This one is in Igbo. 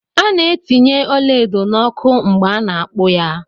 A ná etinye ọla edo na ọkụ mgbe ana akpu ya.